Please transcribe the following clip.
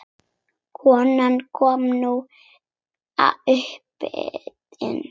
Konan kom nú aftur inn.